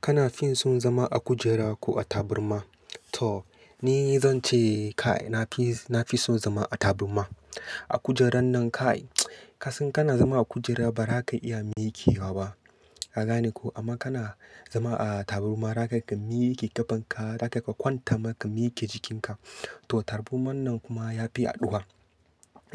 Kana fi son zama a kujera ko a taburma? To ni zan ce, kai na fi son zama a taburma. A kujerar nan kai, ka san kana zama a kujera ba za ka iya miƙewa ba. Ka gane ko? Amma kana zama a taburma, za ka iya ka miƙa ƙafanka, za ka kwanta maka miƙe jikinka. To taburman nan kuma ya fi haɗuwa.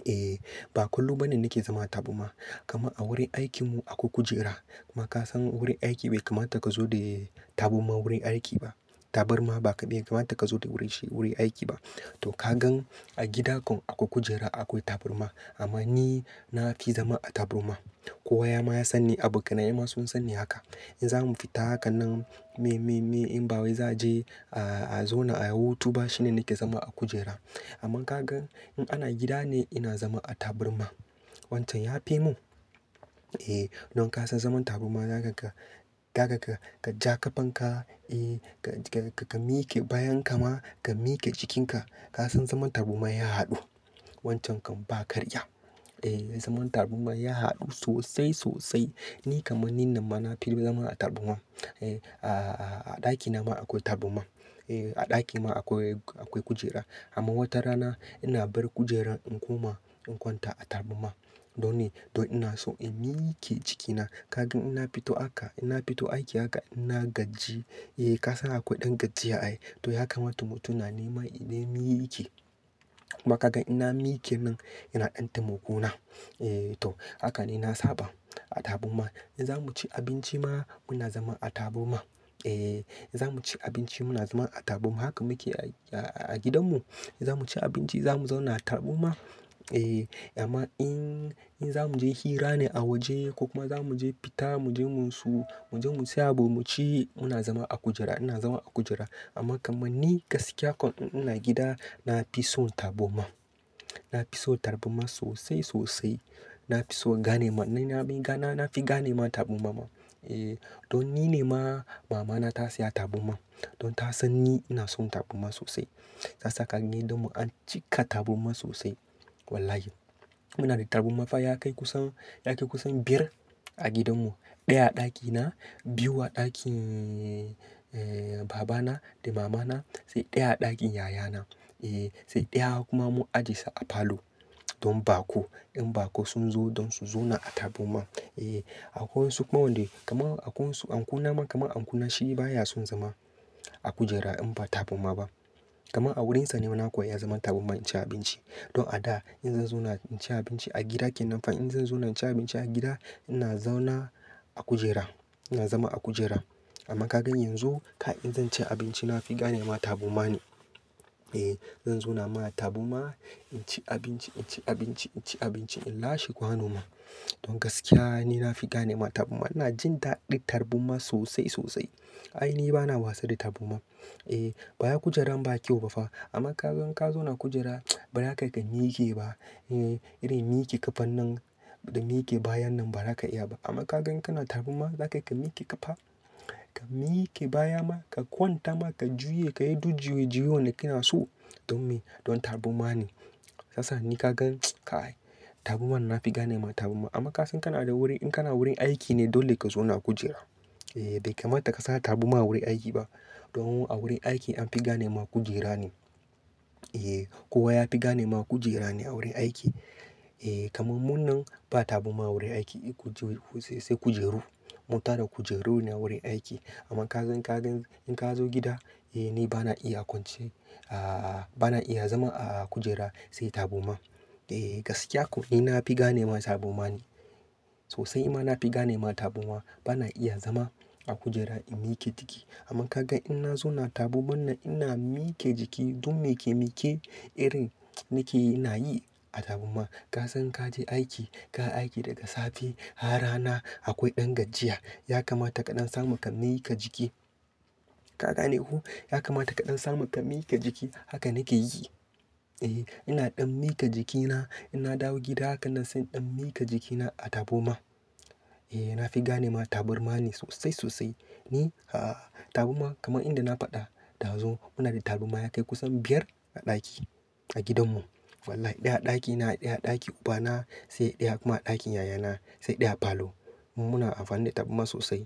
Eh, ba kullum bane nake zama a taburma, kama a wurin aikinmu akwai kujera. Kuma ka san wurin aiki bai kamata ka zo da taburma wurin aiki ba. Taburma bai kamata ka zo da shi wurin aiki ba. To ka gan a gidakon akwai kujera akwai taburma. Amma ni na fi zama a taburma. Kowa ya ma ya san ni, abokanai ma sun san ni haka. In zamu fita hakanan, me, me, me in bawai, zanje a zauna a hutu, ba shine nake zama a kujera. Amma ka gan in ana gida ne, ina zama a taburma. Wancan ya fi mun. Eh, don ka san zaman taburma za ka ja ƙafanka, eh, ka miƙe bayan ka ma, ka miƙe jikinka. Ka san zaman taburma ya haɗu. Wancan kan ba karya. Eh, zaman taburma ya haɗu sosai, sosai. Ni kaman ni nan ma, na fi son zama a taburma. Eh, a ɗakina ma akwai taburma. Eh, a ɗaki ma akwai kujera. Amma wata rana ina bar kujerar in koma in kwanta a taburma. Dole, don ina so in miƙe jikina. Ka gan ina fito aka, ina fito aiki aka, ina gaji. Eh, ka san akwai ɗan gajiya ai. To hakan matu-mutuna ne man in na miƙe. Kuma ka gan ina miƙe min, ina ɗanta muku na. Eh to hakan ne na saba da taburma. In zamu ci abinci ma muna zama a taburma. Eh, in zamu ci abinci muna zama a taburma. Haka muke a gidanmu. In zamu ci abinci, zamu zauna a taburma. Eh, amma in, in zamu je hira ne a waje ko kuma zamu je fita, muje mun su, muje mun siya abmu ci muna zama a kujera, muna zama a kujera. Amma kaman ni gaskiya kon in ana gida, na fi son taburma. Na fi son taburma sosai, sosai. Na fi son ganema, na fi ganema taburma ma. Eh, don ni ne ma mama na ta siya taburma. Don ta san ni, ina son taburma sosai. Ta saka ni don mu cika taburma sosai. Wallahi. Muna da taburma fa, ya kai kusan, ya kai kusan biyar a gidanmu. Ɗaya a ɗakina, biyu a ɗakin eeh, babana da mamana, sai ɗaya a ɗakin yayana. Eeh, sai ɗaya kuma mun ajie sa a falo. Don ba ko in ba ko sun zo don su zauna a taburma. Eeh, akwai wasu kuma wanda kaman anko na ma, kaman anko na shi baya son zama a kujera in ba taburma ba. Kaman a wurin sa ne nawa kawai ya zama taburma in ci abinci. Don a da in zan zauna in ci abinci a gida kenan, fa in zan zauna in ci abinci a gida, ina zauna a kujera. Ina zama a kujera. Amma ka gan yanzu, kai in zan ci abinci, na fi ganema taburma ne. Eeh, zan zauna ma taburma, in ci abinci, in ci abinci, in ci abinci, in lashe kwanon ma. Don gaskiya ni na fi ganema taburma. Ina jin daɗin taburma sosai, sosai. Ai ni bana wasa da taburma. Eeh, baya kujerar ba kyau ba fa. Amma ka gan ka zauna a kujera, ba za ka kai miƙe ba. Eeh, irin miƙe ƙafan nan da niƙe bayan nan ba za ka iya ba. Amma ka gan kana taburma, za ka kai miƙe ƙafa, ka miƙe baya ma, ka kwanta ma, ka juya, ka yi duk juya-juyoyan da kina so. Don me? Don taburma ne. Sasa ni ka gan, kai taburma na fi ganema taburma. Amma ka san kana da wuri, in kana wurin aiki ne, dole ka zauna a kujera. Eeh, bai kamata ka sa taburma wurin aiki ba. Don a wurin aiki an fi ganema kujera ne. Eeh, kowa ya fi ganema kujera ne a wurin aiki. Eeh, kaman munan ba taburma a wurin aiki. Kuje ku sai kujeru. Mu tada kujeru ne wurin aiki. Amma ka gan, ka gan in ka zo gida, eh ni bana iya kwance. Aah, bana iya zama a kujera, sai taburma. Eeh, gaskiya kon ni na fi ganema taburma ne. Sosai ma na fi ganema taburma. Bana iya zama a kujera in miƙe jiki. Amma ka gan in na zauna taburman nan ina miƙe jiki don me ke miƙe irin nake, nayi a taburma. Ka san ka je aiki, ka yi aiki daga safe, har rana, akwai ɗan gajiya. Ya kamata ka ɗan samu ka miƙa jiki. Ka gane huh? Ya kamata ka ɗan samu ka miƙa jiki. Haka nake yi. Eeh, ina ɗan miƙa jikina. In na dawo gida, hakanan sai in ɗan miƙa jikina a taburma. Eeh, na fi ganema taburma ne sosai, sosai. Ni aah, taburma kaman inda na faɗa ɗazu, muna da taburma ya kai kusan biyar a ɗaki a gidanmu. Wallahi. Ɗaya a ɗakina, ɗaya a ɗakin ubana, sai ɗaya kuma a ɗakin yayana, sai ɗaya a falo. Mu muna amfani da taburma sosai.